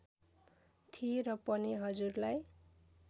थिए र पनि हजुरलाई